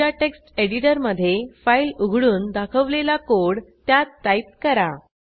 तुमच्या टेक्स्ट एडिटरमधे फाईल उघडून दाखवलेला कोड त्यात टाईप करा